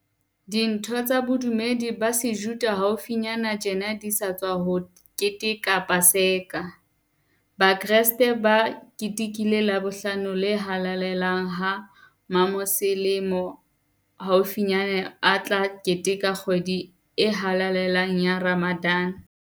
Ditho tsa bodu medi ba Sejuda haufinyane tjena di sa tswa keteka Pa seka, Bakreste ba ketekile Labohlano le Halalelang ha Mamoselemo haufinyane a tla keteka kgwedi e halale lang ya Ramadan.